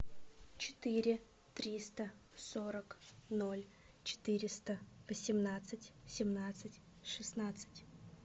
четыре триста сорок ноль четыреста восемнадцать семнадцать шестнадцать